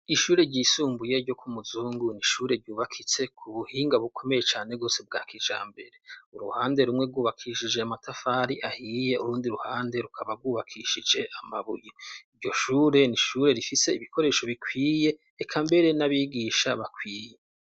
Ishure ryisumbuye ryo ku Muzungu ni ishure ryubakitse ku buhinga bukomeye cane rwose bwa kijambere. Uruhande rumwe rwubakishije amatafari ahiye, urundi ruhande rukaba bwubakishije amabuye. Iryo shure ni ishure rifise ibikoresho bikwiye, eka mbere n'abigisha bakwiye.